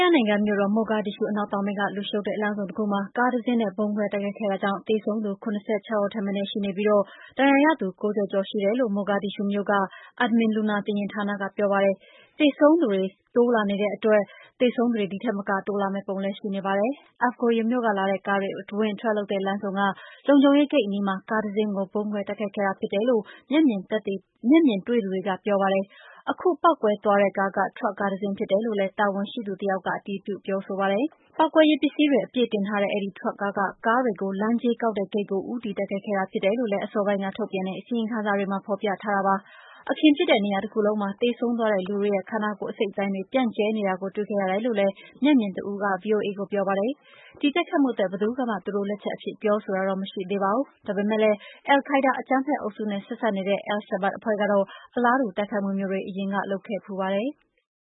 ယားနိုင်ငံ၊ မြို့တော် မိုဂါဒစ်ရှူး အနောက်တောင်ပိုင်းက လူရှုပ်တဲ့ လမ်းဆုံတခုမှာ ကားတစီးနဲ့ ဗုံးခွဲတိုက်ခိုက်ခဲ့တာကြောင့် သေဆုံးသူ ၇၆ ဦးထက်မနည်း ရှိပြီး ဒဏ်ရာရသူ ၅၀ ကျော်တယ်လို့ မိုဂါဒစ်ရှူးမြို့ Aamin လူနာတင်ယာဉ်ဌာနက ပြောပါတယ်။ အစိုးရအရာရှိတချို့ကတော့ သေဆုံးသူ ၉၀ လောက်ထိရှိတယ်လို့ ပြောနေတာကြောင့် သေဆုံးသူအရေအတွက်က တိုးလာမယ့်ပုံ ရှိပါတယ်။ Afgoye မြို့ကလာတဲ့ ကားတွေ အဝင်အထွက်လုပ်တဲ့ လမ်းဆုံက လုံခြုံရေးဂိတ်အနီးမှာ ကားတစီးကို ဗုံးခွဲတိုက်ခိုက်ခဲ့တာ ဖြစ်တယ်လို့ မျက်မြင်တွေ့သူတွေက ပြောပါတယ်။ ခုပေါက်ကွဲသွားတဲ့ကားက ထရပ်ကားတစီး ဖြစ်တယ်လို့လည်း တာဝန်ရှိသူတယောက်က အတည်ပြု ပြောဆိုပါတယ်။ ပေါက်ကွဲရေးပစ္စည်းတွေ အပြည့်တင်လာတဲ့ အဲဒီထရပ်ကားက ကားတွေ လမ်းကြေးကောက်တဲ့ဂိတ်ကို ဦးတည်တိုက်ခိုက်ခဲ့တာ ဖြစ်တယ်လို့ အစောပိုင်းက ထုတ်ပြန်တဲ့ အစီရင်ခံစာမှာ ဖော်ပြထားပါတယ်။ အခင်းဖြစ်တဲ့ နေရာတခုလုံးမှာ သေဆုံးသွားတဲ့လူတွေနဲ့ ခန္ဓာကိုယ် အစိတ်အပိုင်းတွေ ပြန့်ကျဲနေတာကို တွေ့ခဲ့ရတယ်လို့လည်း မျက်မြင်တဦးက ဗွီအိုအေကို ပြောပါတယ်။ ဒီတိုက်ခိုက်မှုအတွက် ဘယ်သူကမှ သူတို့လက်ချက်အဖြစ် ပြောဆိုတာ မရှိသေးပါဘူး။ ဒါပေမယ့်လည်း အယ်လ်ခိုင်းဒါး အကြမ်းဖက်အုပ်စုနဲ့ ဆက်စပ်နေတဲ့ အယ်လ်ရှာဘတ် အဖွဲ့ကတော့ အလားတူ တိုက်ခိုက်မှုမျိုးတွေကို အရင်တုန်းက လုပ်ခဲ့ဖူးပါတယ်။